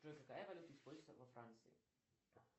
джой какая валюта используется во франции